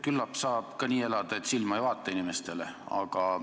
Küllap saab ka nii elada, et inimestele silma ei vaata.